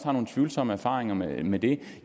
nogle tvivlsomme erfaringer med med det